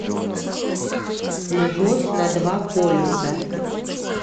любовь на два полюса